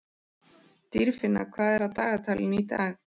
Dýrfinna, hvað er á dagatalinu í dag?